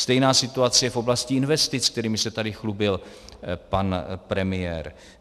Stejná situace je v oblasti investic, kterými se tady chlubil pan premiér.